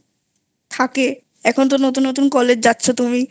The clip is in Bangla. থাকে এখন তো নতুন নতুন কলেজ যাচ্ছ তুমি